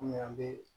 Kɔmi an bɛ